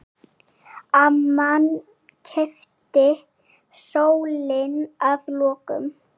Amman keypti stólinn að lokum.